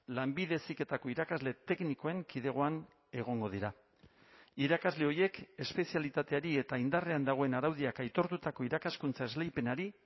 lanbide heziketako irakasle teknikoen kidegoan egongo dira irakasle horiek espezialitateari eta indarrean dagoen araudiak aitortutako irakaskuntza esleipenari